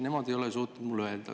Nemad ei ole suutnud mulle öelda.